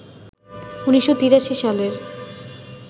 ১৯৮৩ সালের